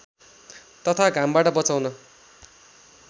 तथा घामबाट बचाउन